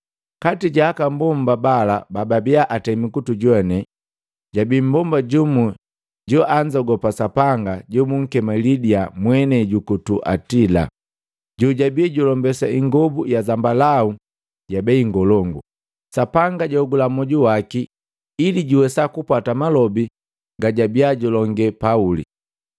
Kati ja aka mbomba bala bababia atenda kutujoane jabi mmbomba jumu joanzogopa Sapanga jobunkema Lidia mwenei juku Tuatila, jojabi julombesa ingobu ya zambalau ya bei ngolongu. Sapanga jaogula moju waki ili juwesa kupwata malobi gajabia julonge Pauli.